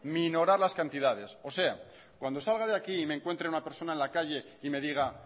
minorar las cantidades cuando salga de aquí y me encuentre una persona en la calle y me diga